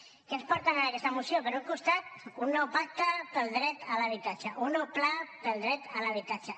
què ens porten en aquesta moció per un costat un nou pacte pel dret a l’habitatge un nou pla pel dret a l’habitatge